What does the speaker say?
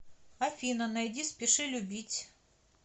афина найди спеши любить